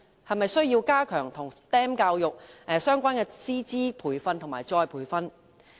是否需要加強與 STEM 教育相關的師資培訓和再培訓呢？